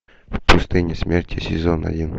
в пустыне смерти сезон один